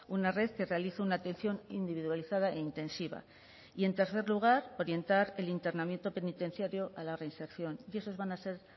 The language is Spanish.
una red que realice una atención individualizada e intensiva y en tercer lugar orientar el internamiento penitenciario a la reinserción y esos van a ser